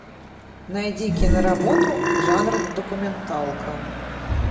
найди киноработу жанр документалка